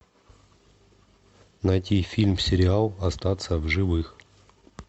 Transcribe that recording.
найти фильм сериал остаться в живых